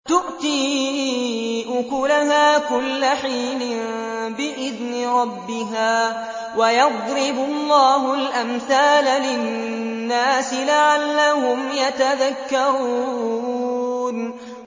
تُؤْتِي أُكُلَهَا كُلَّ حِينٍ بِإِذْنِ رَبِّهَا ۗ وَيَضْرِبُ اللَّهُ الْأَمْثَالَ لِلنَّاسِ لَعَلَّهُمْ يَتَذَكَّرُونَ